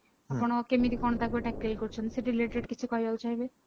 ଆପଣ କେମିତି କଣ ତାକୁ tickle କରୁଛନ୍ତି ସେ related କିଛି କହିବାକୁ ଚାହିଁବେ